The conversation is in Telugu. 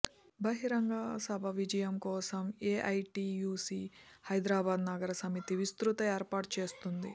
బహిరంగ సభ విజయం కోసం ఏఐటీయూసీ హైదరాబాద్ నగర సమితి విస్తృత ఏర్పాట్లు చేస్తోంది